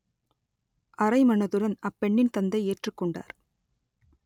அரைமனதுடன் அப்பெண்ணின் தந்தை ஏற்றுக் கொண்டார்